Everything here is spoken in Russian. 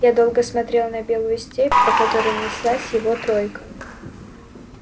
я долго смотрел на белую степь по которой неслась его тройка